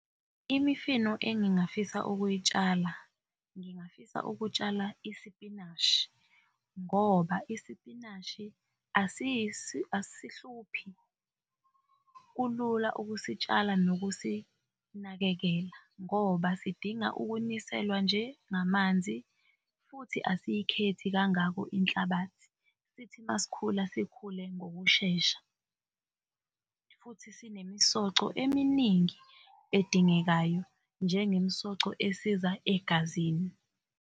Imifino engingafisa ukuyitshala, ngingafisa ukutshala isipinashi, ngoba isipinashi asihluphi kulula ukusitshala nokusinakekela, ngoba sidinga ukuniselwa nje ngamanzi futhi asiyikhethi kangako inhlabathi sithi masikhula sikhule ngokushesha futhi sinemisoco eminingi edingekayo njengemsoco esiza egazini.